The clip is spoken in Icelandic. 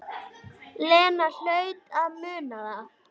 Lena hlaut að muna það.